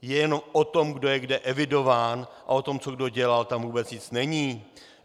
Je jen o tom, kdo je kde evidován, a o tom, co kdo dělal, tam vůbec nic není.